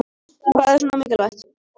Hvað er svona mikilvægt